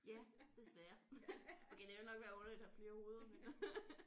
Ja desværre okay det ville nok være underligt at have flere hoveder men